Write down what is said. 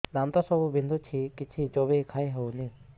ଦାନ୍ତ ସବୁ ବିନ୍ଧୁଛି କିଛି ଚୋବେଇ ଖାଇ ହଉନି